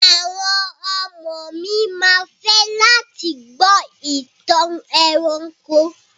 Àwọn ọmọ mi ma fẹ́ láti gbọ́ ìtàn ẹranko.